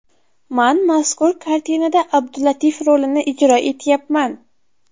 Man mazkur kartinada Abdulatif rolini ijro etyapman.